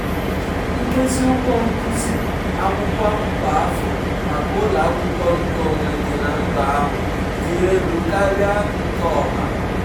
"nkezi ụgwọ nkuzi akwụkwọ kwa afọ maka ụlọ akwụkwọ nkeonwe dị na mba ahụ dị elu karịa nke ọha."